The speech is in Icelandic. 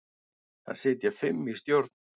Þar sitja fimm í stjórn.